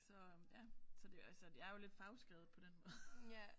Så ja så det er jo altså det er jo lidt fagskrevet på den måde